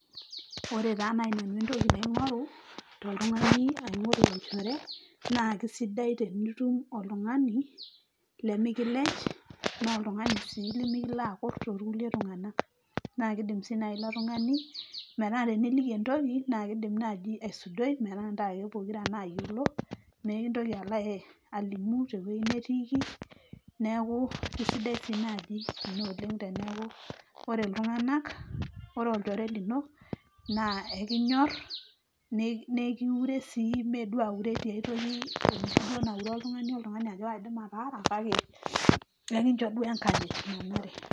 ore taa naaji nanu entoki naing'oru toltung'ani aing'oru olchore naa kisidai tenitum oltung'ani lemikilej naa oltung'ani sii lemikilo akurr torkulie tung'anak naa kidim sii naaji ilo tung'ani metaa teniliki entoki naa kidim naaji aisudoi metaa ntae ake pokira nayiolo mekintoki alo alimu tewueji netiiki neeku isidai sii naaji ina oleng teneeku ore iltung'anak ore olchore lino naa ekinyorr nee nekiure sii meduo aure tiae toki enoshi duo naure oltung'ani ajo kaidim ataara kake ekincho duo enkanyit nanare.